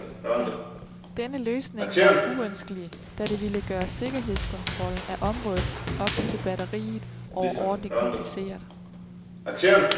Denne løsning var uønskelig, da det ville gøre sikkerhedskontrollen af området op til batteriet overordentlig kompliceret.